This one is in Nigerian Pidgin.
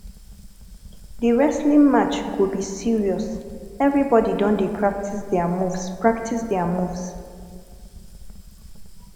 di wrestling match go be serious everybodi don dey practice their moves practice their moves